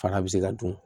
Fana bɛ se ka dun